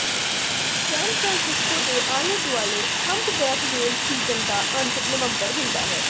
ਸੈਨ Francisco ਦੇ ਆਲੇ ਦੁਆਲੇ ਹੰਪਬੈਕ ਵੇਲ ਸੀਜ਼ਨ ਦਾ ਅੰਤ ਨਵੰਬਰ ਹੁੰਦਾ ਹੈ